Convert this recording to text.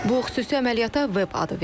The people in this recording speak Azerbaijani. Bu xüsusi əməliyyata Veb adı verilib.